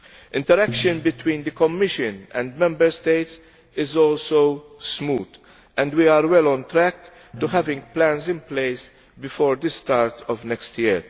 Interaction between the Commission and Member States is also smooth and we are well on track to having plans in place before the start of next year.